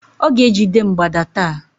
Ọ ga-ejide mgbada taa